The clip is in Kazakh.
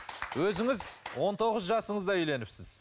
өзіңіз он тоғыз жасыңызда үйленіпсіз